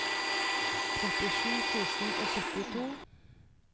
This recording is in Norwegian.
trettisju tusen og syttito